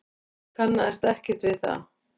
Kannaðist ekkert við það.